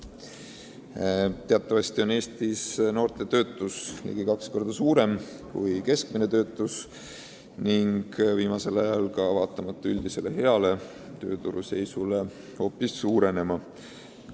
Teatavasti on Eestis noorte töötuse määr ligi kaks korda suurem kui keskmine töötuse määr ning viimasel ajal on see vaatamata üldisele heale tööturu seisule hoopis suurenema hakanud.